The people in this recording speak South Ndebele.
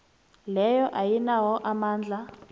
leyo ayinawo amandla